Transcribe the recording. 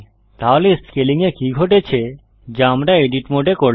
তাহলে স্কেলিং এ কি ঘটেছে যা আমরা এডিট মোডে করলাম